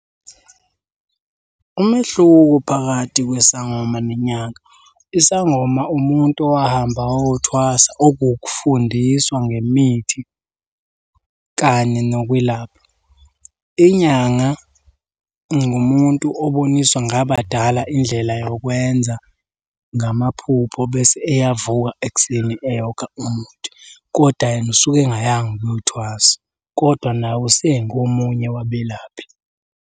Umehluko phakathi kwesangoma nenyanga. Isangoma umuntu owahamba wayothwasa okukufundiswa ngemithi kanye nokwelapha. Inyanga ngumuntu oboniswa ngabadala indlela yokwenza ngamaphupho bese eyavuka ekuseni eyokha umuthi, kodwa yena usuke engayanga ukuyothwasa, koda nawe usengomunye wabelaphi.